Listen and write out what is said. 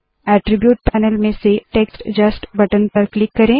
attribute panel में से text just button पर क्लिक करे